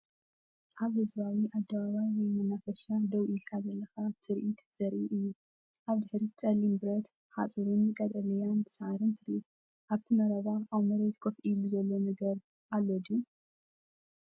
ኣብ ህዝባዊ ኣደባባይ ወይ መናፈሻ ደው ኢልካ ዘለኻ ትርኢት ዘርኢ እዩ። ኣብ ድሕሪት ጸሊም ብረት ሓጹርን ቀጠልያ ሳዕርን ትርኢ። ኣብቲ መረባ ኣብ መሬት ኮፍ ኢሉ ዘሎ ነገር ኣሎ ድዩ?